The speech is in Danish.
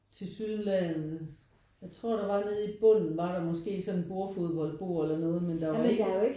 Tilsyneladende jeg tror der var nede i bunden var der måske sådan et bordfodbold bord eller noget men der var ikke